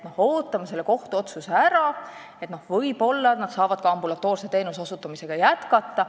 Ootame selle kohtuotsuse ära: võib-olla nad saavad ka ambulatoorse teenuse osutamist jätkata.